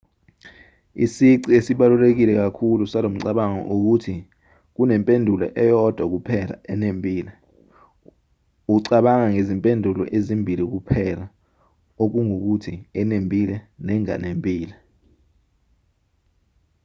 isici esibaluleke kakhulu salomcabango ukuthi kunempendulo eyodwa kuphela enembile ucabanga ngezimpendulo ezimbili kuphela okungukuthi enembile nenganembile